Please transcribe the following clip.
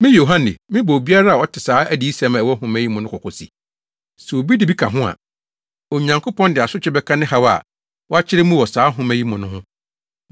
Me, Yohane, mebɔ obiara a ɔte saa adiyisɛm a ɛwɔ nhoma yi mu no kɔkɔ se: Sɛ obi de bi ka ho a, Onyankopɔn de asotwe bɛka ne haw a wakyerɛ mu wɔ saa nhoma yi mu no ho.